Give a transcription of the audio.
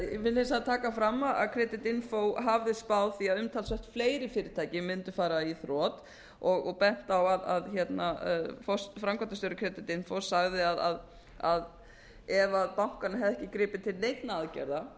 vil ég taka fram að creditinfo hafði spáð því að umtalsvert fleiri fyrirtæki mundu fara í þrot og bent á að framkvæmdastjóri creditinfo sagði að bankarnir hefðu ekki gripið til neinna aðgerða